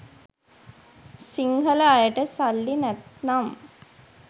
සිංහල අයට සල්ලි නැත්නම්